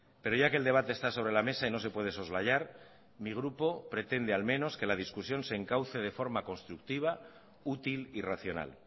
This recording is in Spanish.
pero ya que el debate está sobre la mesa y no se puede soslayar mi grupo pretende al menos que la discusión se encauce de forma constructiva útil y racional